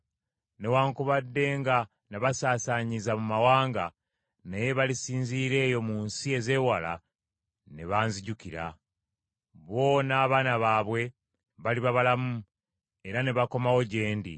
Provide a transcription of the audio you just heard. Newaakubadde nga nabasaasaanyiza mu mawanga, naye balisinzira eyo mu nsi ezeewala ne banzijukira. Bo n’abaana baabwe baliba balamu era ne bakomawo gye ndi.